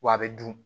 Wa a bɛ dun